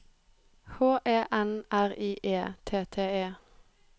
H E N R I E T T E